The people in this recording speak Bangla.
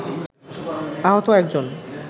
আহত একজন